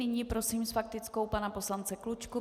Nyní prosím s faktickou pana poslance Klučku.